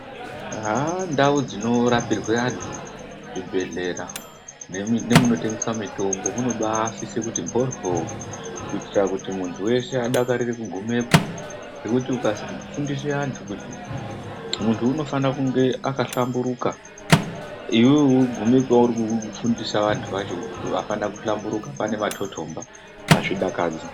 Ndau dzinorapirwa vantu, zvibhedhlera nemunotengeswa mitombo munobaasise kuti mboryo kuitira kuti muntu weshe adakarire kugumepo ngekuti ukazi fundisa antu , muntu unofane kunge akahlamburika .Iwewe ugonewo kufundisa antu acho wakahlamburika pane matotomba azvidakadzi.